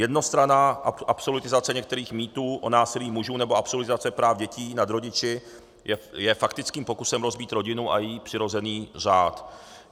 Jednostranná absolutizace některých mýtů o násilí mužů nebo absolutizace práv dětí nad rodiči je faktickým pokusem rozbít rodinu a její přirozený řád.